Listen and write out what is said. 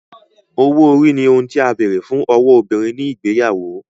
owó ori ní ohùn tí a béèrè fún ọwọ obìrin ní igbeyawo